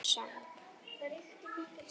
Dösuð undir sæng.